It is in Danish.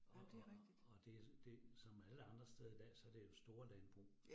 Og og og det det som alle andre steder i dag, så det jo store landbrug